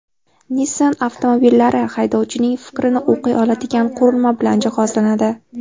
Nissan avtomobillari haydovchining fikrini o‘qiy oladigan qurilma bilan jihozlanadi.